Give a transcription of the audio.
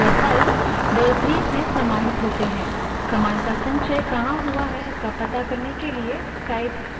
यह files directories में समाहित होती हैं command का संचय कहाँ हुआ है इसका to करने के लिए type command का प्रयोग कर सकते हैं